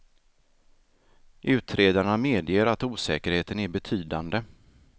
Utredarna medger att osäkerheten är betydande.